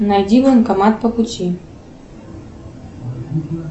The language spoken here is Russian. найди банкомат по пути